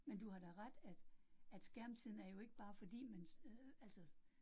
Men du har da ret, at at skærmtiden er jo ikke bare fordi man øh altså